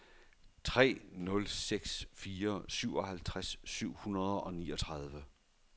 tre nul seks fire syvoghalvtreds syv hundrede og niogtredive